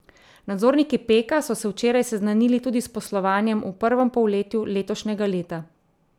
Nadzorniki Peka so se včeraj seznanili tudi s poslovanjem v prvem polletju letošnjega leta.